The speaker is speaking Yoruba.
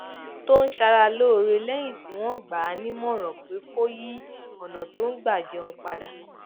tó ń ṣara lóore léyìn tí wón gbà á nímòràn pé kó yí ònà tó ń gbà jẹun padà